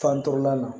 Fandɔlan na